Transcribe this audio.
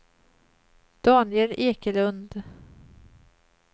Daniel Ekelund